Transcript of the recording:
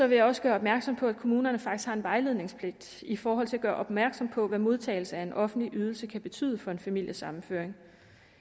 vil jeg også gøre opmærksom på at kommunerne faktisk har en vejledningspligt i forhold til at gøre opmærksom på hvad modtagelse af en offentlig ydelse kan betyde for en familiesammenføring